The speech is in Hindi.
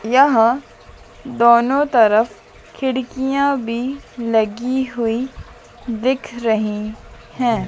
यहं दोनों तरफ खिड़कियां भी लगी हुईं दिख रहीं हैं।